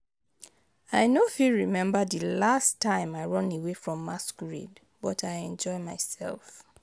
I no go fit remember the last time I run away from masquerade but I enjoy myself